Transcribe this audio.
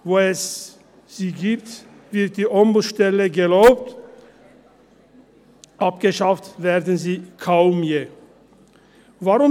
Wo es sie gibt, werden die Ombudsstellen gelobt, abgeschafft werden sie kaum je. «